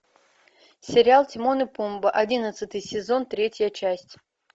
сериал тимон и пумба одиннадцатый сезон третья часть